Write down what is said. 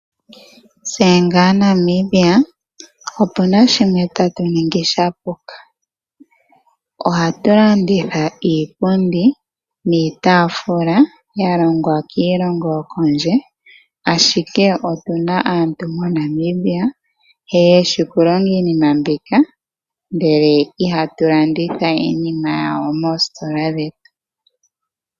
Tse nga aNamibia opuna shimwe tatuningi shapuka, oha tulanditha iipundi niitafula yalongwa kiilongo yokondje ashike otuna aantu moNamibia yeshi okulonga iinima mbika ndele Iha tulanditha iinima yawo mositola dhetu.